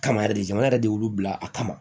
Kama yɛrɛ de jamana yɛrɛ de y'olu bila a kama